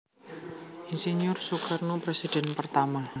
Ir Soekarno Presiden Pertama